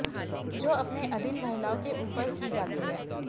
जो अपने अधीन महिलाओं के ऊपर की जाती है